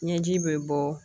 Ɲɛji bɛ bɔ